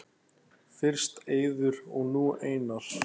Fyrst Eiður og nú Einar??